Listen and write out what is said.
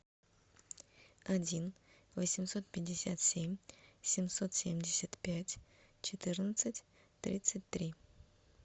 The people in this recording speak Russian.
один восемьсот пятьдесят семь семьсот семьдесят пять четырнадцать тридцать три